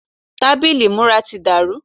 Tábìlì ìmúra ti dàrú.